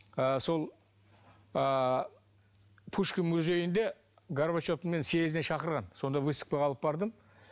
ы сол ы пушкин музейінде горбачев мені съездіне шақырған сонда выставкаға алып бардым